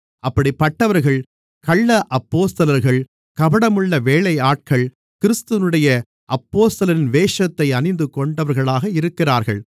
அப்படிப்பட்டவர்கள் கள்ள அப்போஸ்தலர்கள் கபடமுள்ள வேலையாட்கள் கிறிஸ்துவினுடைய அப்போஸ்தலரின் வேஷத்தை அணிந்துகொண்டவர்களாக இருக்கிறார்கள்